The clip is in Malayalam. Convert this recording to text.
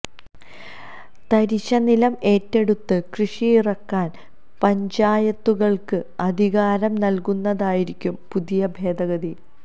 തരിശ് നിലം ഏറ്റെടുത്ത് കൃഷിയിറക്കാൻ പഞ്ചായത്തുകൾക്ക് അധികാരം നൽകുന്നതായിരിക്കും പുതിയ ഭേദഗതി